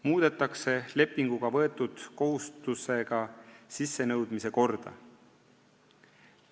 Muudetakse lepinguga võetud maksukohustuse sissenõudmise korda.